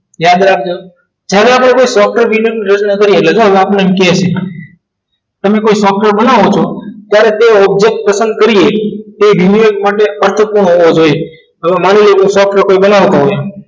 યાદ રાખજો હવે આપણને કહે છે તમે કોઈ સોફ્ટવેર બનાવો છો પણ એ object પ્રથમ કરીએ તો એ renewal માટે અશક્ય હોવો જોઈએ તો માની સોફ્ટવેર કોઈ બનાવતું હોય